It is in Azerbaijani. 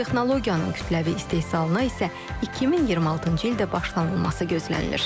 Bu texnologiyanın kütləvi istehsalına isə 2026-cı ildə başlanılması gözlənilir.